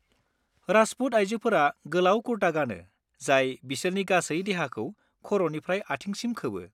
राजपुत आयजोफोरा गोलाव कुर्ता गानो जाय बिसोरनि गासै देहाखौ खर'निफ्राय आथिंसिम खोबो।